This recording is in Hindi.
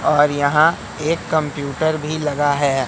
और यहां एक कंप्यूटर भी लगा है।